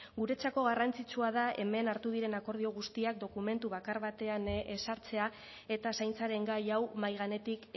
guretzako garrantzitsua da hemen hartu diren akordio guztiak dokumentu bakar batean ezartzea eta zaintzaren gai hau mahai gainetik